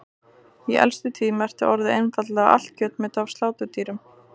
Í elstu tíð merkti orðið einfaldlega allt kjötmeti af sláturdýrum.